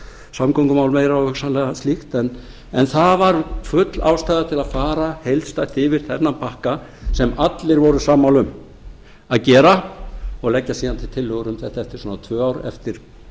samgöngumál meira og hugsanlega slíkt en það var full ástæða til að fara heildstætt yfir þennan pakka sem allir voru sammála um að gera og leggja síðan til tillögur um þetta eftir svona tvö ár eftir